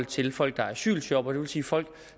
til folk der er asylshoppere det vil sige folk